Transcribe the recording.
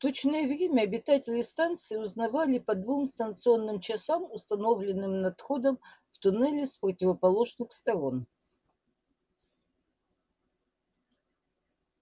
точное время обитатели станции узнавали по двум станционным часам установленным над входом в туннели с противоположных сторон